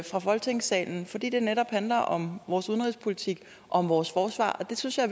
fra folketingssalen fordi det netop handler om vores udenrigspolitik og vores forsvar og det synes jeg